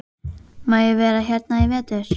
Má ég vera hérna í vetur?